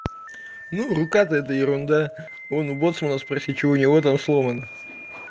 ну рука то это ерунда вон у боцмана спроси чего у него там сломано